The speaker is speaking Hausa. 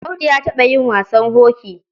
Audu ya taɓa yin wasan hoki.